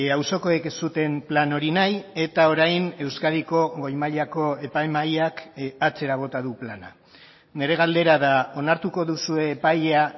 auzokoek ez zuten plan hori nahi eta orain euskadiko goi mailako epai mahaiak atzera bota du plana nire galdera da onartuko duzue epaia